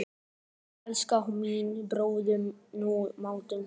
Svona, elskan mín, borðaðu nú matinn þinn.